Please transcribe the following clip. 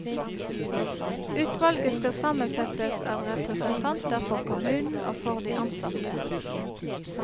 Utvalget skal sammensettes av representanter for kommunen og for de ansatte.